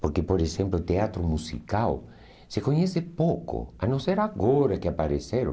Porque, por exemplo, o teatro musical se conhece pouco, a não ser agora que apareceram.